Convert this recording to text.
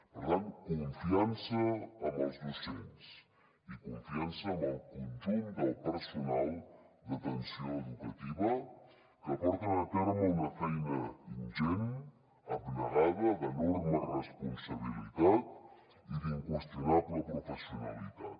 per tant confiança en els docents i confiança en el conjunt del personal d’atenció educativa que porten a terme una feina ingent abnegada d’enorme responsabilitat i d’inqüestionable professionalitat